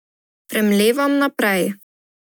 Premlevam naprej.